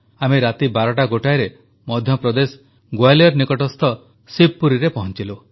ଆମେ ରାତି ବାରଟାଗୋଟାଏରେ ମଧ୍ୟପ୍ରଦେଶ ଗ୍ୱାଲିୟର ନିକଟସ୍ଥ ଶିବପୁରୀରେ ପହଂଚିଲୁ